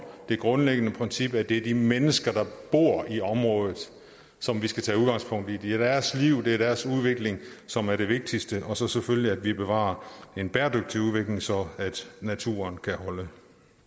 det grundlæggende princip at det er de mennesker der bor i området som vi skal tage udgangspunkt i for det er deres liv det er deres udvikling som er det vigtigste og så selvfølgelig at vi bevarer en bæredygtig udvikling så naturen kan holde